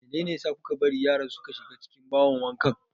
Meyne ne a sa kuka bari yaran suka shiga cikin bahon wanka?